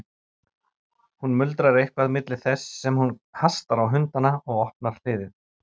Hún muldrar eitthvað milli þess sem hún hastar á hundana og opnar hliðið.